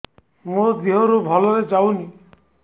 ମୋ ଦିହରୁ ଭଲରେ ଯାଉନି